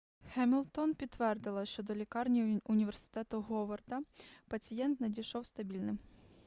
хемілтон підтвердила що до лікарні університету говарда пацієнт надійшов стабільним